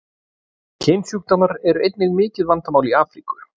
Kynsjúkdómar eru einnig mikið vandamál í Afríku.